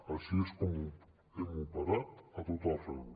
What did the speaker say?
així és com hem operat a tot arreu